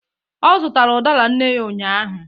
ọ zụtara udara nne ya ụnyahụ